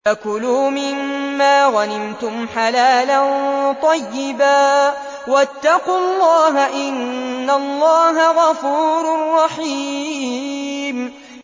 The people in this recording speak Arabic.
فَكُلُوا مِمَّا غَنِمْتُمْ حَلَالًا طَيِّبًا ۚ وَاتَّقُوا اللَّهَ ۚ إِنَّ اللَّهَ غَفُورٌ رَّحِيمٌ